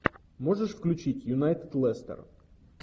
можешь включить юнайтед лестер